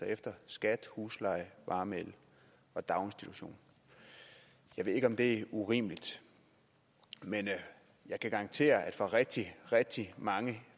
efter skat husleje varme el og daginstitution jeg ved ikke om det er urimeligt men jeg kan garantere at for rigtig rigtig mange